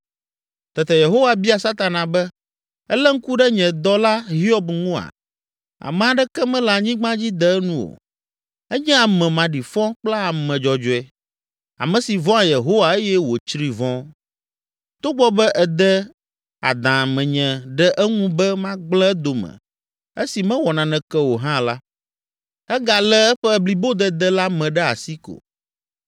Tete Yehowa bia Satana be, “Èlé ŋku ɖe nye dɔla Hiob ŋua? Ame aɖeke mele anyigba dzi de enu o, enye ame maɖifɔ kple ame dzɔdzɔe, ame si vɔ̃a Yehowa eye wòtsri vɔ̃. Togbɔ be ède adã menye ɖe eŋu be magblẽ edome esi mewɔ naneke o hã la, egalé eƒe blibodede la me ɖe asi ko.”